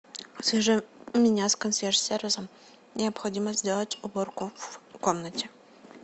свяжи меня с консьерж сервисом необходимо сделать уборку в комнате